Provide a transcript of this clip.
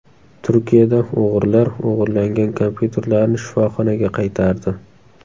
Turkiyada o‘g‘rilar o‘g‘irlangan kompyuterlarni shifoxonaga qaytardi.